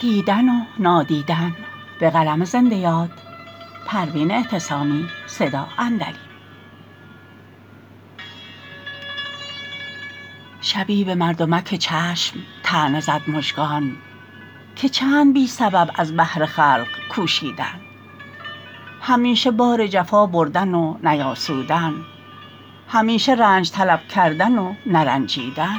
شبی بمردمک چشم طعنه زد مژگان که چند بی سبب از بهر خلق کوشیدن همیشه بار جفا بردن و نیاسودن همیشه رنج طلب کردن و نرنجیدن